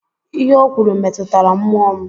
Ihe ọ kwuru metụtara mmụọ m.